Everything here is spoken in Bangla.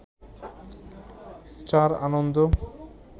স্টার আনন্দ